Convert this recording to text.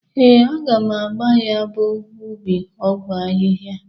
Ee, aga m agba ya bụ ubi ọgwọ ahịha.